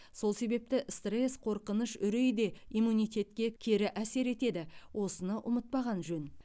сол себепті стресс қорқыныш үреи де иммунитетке кері әсер етеді осыны ұмытпаған жөн